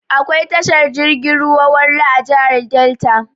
Akwai tashar jirgin ruwan Warri a jihar Delta.